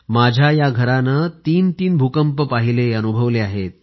माझ्या या घरानं 33 भूकंप पाहिले अनुभवले आहेत